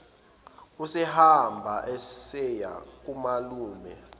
usehamba useya kumalume